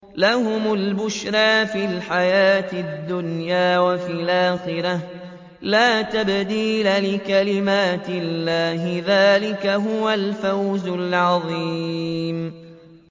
لَهُمُ الْبُشْرَىٰ فِي الْحَيَاةِ الدُّنْيَا وَفِي الْآخِرَةِ ۚ لَا تَبْدِيلَ لِكَلِمَاتِ اللَّهِ ۚ ذَٰلِكَ هُوَ الْفَوْزُ الْعَظِيمُ